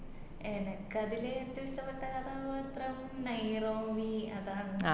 എനക്കത്തില് ഏറ്റോം ഇഷ്ട്ടപെട്ട കഥാപാത്രം Neirobi അതാന്ന്